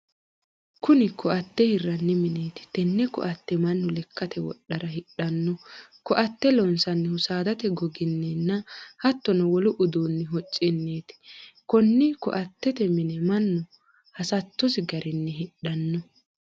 Kunni koate hiranni mineeti. Tenne koate Manu lekate wodhara hidhano. Koate loonsannihu saadate goginninna hattono wolu uduunni hocunniiti. Konni koatete minne Manu hasattosi garinni hidhano.